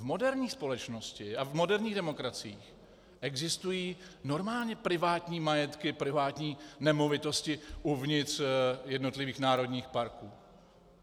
V moderní společnosti a v moderních demokraciích existují normálně privátní majetky, privátní nemovitosti uvnitř jednotlivých národních parků.